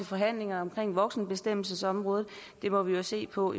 forhandlinger omkring voksenbestemmelsesområdet det må vi jo se på